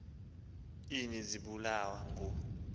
ini zibulawa ngu